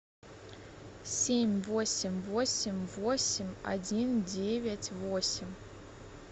семь восемь восемь восемь один девять восемь